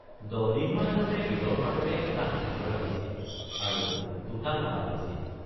দহদিনমান আগতে বিলৰ পাৰতে এটা হাতী ধৰা হৈছিল আৰু দুটা মৰা হৈছিল।